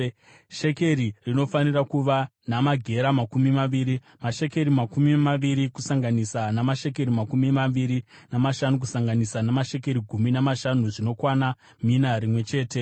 Shekeri rinofanira kuva namagera makumi maviri. Mashekeri makumi maviri kusanganisa namashekeri makumi maviri namashanu, kusanganisa namashekeri gumi namashanu zvinokwana mina rimwe chete .